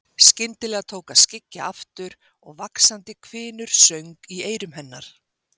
Skyndilega tók að skyggja aftur og vaxandi hvinur söng í eyrum hennar.